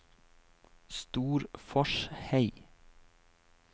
Storforshei